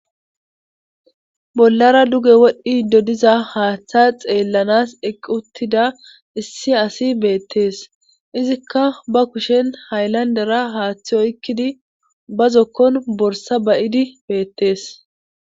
bollara duge wodhdhi do diza haaththa xeellanas equttida issi asi beettees izikka ba kushen hayllandera haaththi oykkidi ba zokkon borsa bayidi beettees